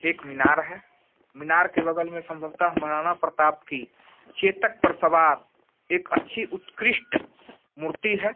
एक मीनार है मीनार के बगल में संभवतः महाराणा प्रताप की चेतक पर सवार एक अच्छी उत्कृष्ठ मूर्ति है।